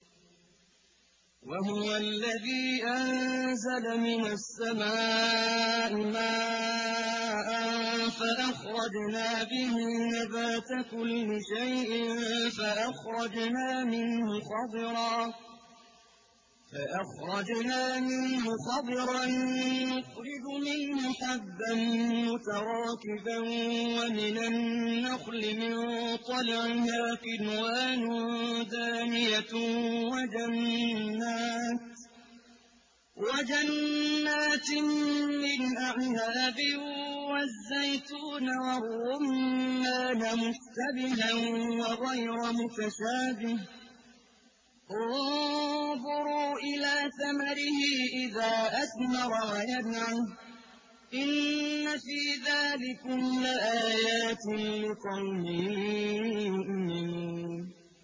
وَهُوَ الَّذِي أَنزَلَ مِنَ السَّمَاءِ مَاءً فَأَخْرَجْنَا بِهِ نَبَاتَ كُلِّ شَيْءٍ فَأَخْرَجْنَا مِنْهُ خَضِرًا نُّخْرِجُ مِنْهُ حَبًّا مُّتَرَاكِبًا وَمِنَ النَّخْلِ مِن طَلْعِهَا قِنْوَانٌ دَانِيَةٌ وَجَنَّاتٍ مِّنْ أَعْنَابٍ وَالزَّيْتُونَ وَالرُّمَّانَ مُشْتَبِهًا وَغَيْرَ مُتَشَابِهٍ ۗ انظُرُوا إِلَىٰ ثَمَرِهِ إِذَا أَثْمَرَ وَيَنْعِهِ ۚ إِنَّ فِي ذَٰلِكُمْ لَآيَاتٍ لِّقَوْمٍ يُؤْمِنُونَ